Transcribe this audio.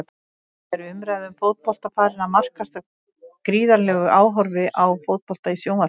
Er umræða um fótbolta farin að markast af gríðarlegu áhorfi á fótbolta í sjónvarpi?